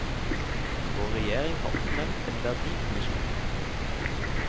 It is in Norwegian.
Vår regjering har oppnevnt en verdikommisjon.